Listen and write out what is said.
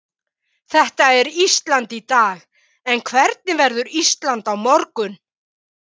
Þetta er Ísland í dag en hvernig verður Ísland á morgun?